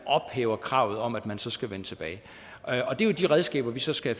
ophæver kravet om at man så skal vende tilbage det er jo de redskaber vi så skal